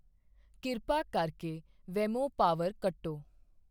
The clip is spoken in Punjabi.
ਕਿਰਪਾ ਕਰਕੇ ਵੇਮੋ ਪਾਵਰ ਕੱਟੋ